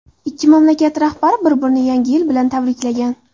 Ikki mamlakat rahbari bir-birini Yangi yil bilan tabriklagan.